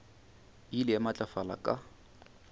e ile ya matlafala ka